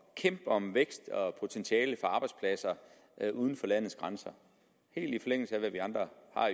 kæmpe om vækst og potentiale for arbejdspladser uden for landets grænser helt i forlængelse af hvad vi andre